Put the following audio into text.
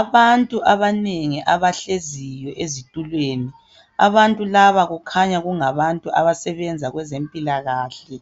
Abantu abanengi abahleziyo ezitulweni. Abantu laba kukhanya kungabantu abasebenza kwezempilakahle.